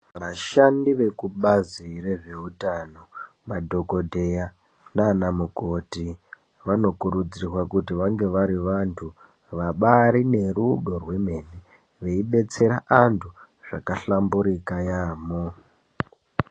Vashandi vekubazi rezveutano madhokodheya nanamukoti vanokurudzirwa kuti vange vari vantu vabari nerudo rwemene veidetsera antu zvakahlamburuka yambo.